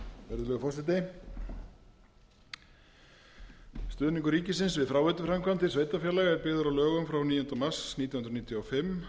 virðulegi forseti stuðningur ríkisins við fráveituframkvæmdir sveitarfélaga er byggður á lögum frá níunda mars nítján hundruð níutíu og fimm